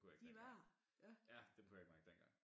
Kunne jeg ikke mærke ja dem kunne jeg ikke mærke dengang